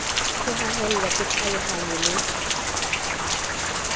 o haellwa ke tlhalohanyo le